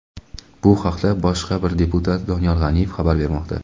Bu haqda boshqa bir deputat Doniyor G‘aniyev xabar bermoqda.